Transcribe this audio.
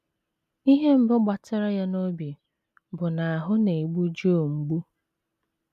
Ihe mbụ gbatara ya n’obi bụ na ahụ́ na - egbu Joe mgbu.